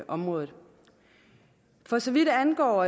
området for så vidt angår